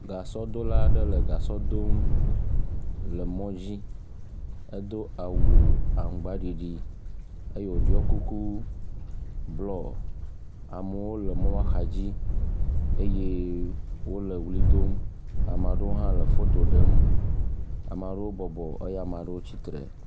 Gasɔdola aɖe le gasɔ dom le mɔ dzi. Edo awu aŋgbaɖiɖi eye woɖiɔ kuku blɔ. Amewo le mɔa xadzi eye wole ʋli dom. Ame aɖewo hã le fofo ɖem. Ame aɖewo bɔbɔ eye ame aɖewo tsitre.